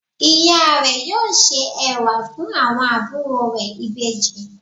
Ìya rẹ̀ yóò se ẹ̀wà fun àwọn àbúrò rẹ̀ Ìbejì